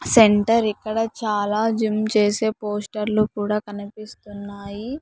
Centre ఇక్కడ చాలా gym చేసే పోస్టర్లు కూడా కనిపిస్తున్నాయి.